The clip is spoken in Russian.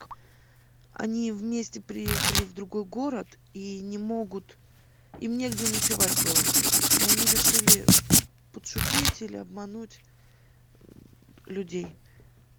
они вместе приехали в другой город и не могут им негде ночевать было и они решили подшутить или обмануть людей